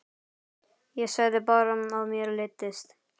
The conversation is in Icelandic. Ég sagði bara að mér leiddist.